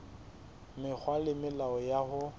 mekgwa le melao ya ho